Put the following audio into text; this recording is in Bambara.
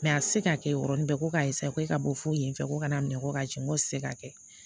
a tɛ se k'a kɛ yɔrɔnin bɛɛ ko k'a k'e ka bɔ foyi in fɛ ko kana minɛ ko ka jigin ko se k'a kɛ